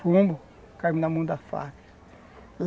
Fomos, caímos na mão das Farc.